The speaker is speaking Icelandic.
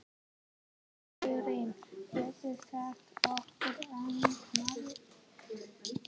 Liturinn getur sagt okkur ansi margt.